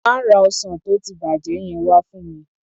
Má ra ọsàn tó ti bàjẹ́ yẹn wa fún mi.